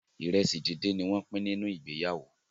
iresi dín dín ní wón pín nínú ìgbéyàwó.